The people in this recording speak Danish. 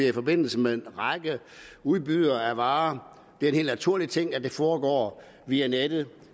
i forbindelse med en række udbydere af varer er en helt naturlig ting at det foregår via nettet